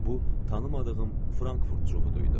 Bu tanımadığım Frankfurt çuqudu idi.